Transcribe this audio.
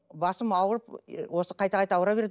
басым ауырып осы қайта қайта ауыра береді